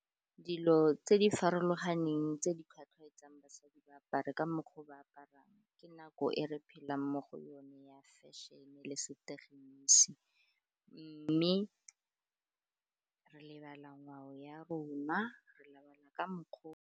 Dilo tse di farologaneng tse di tlhwatlhwaetsang basadi ba apare ka mokgwa o ba aparang, ka nako e re phelang mo go yone ya fashion-e le setegenisi mme re lebala ngwao ya rona, re lebala ka mokgwa o.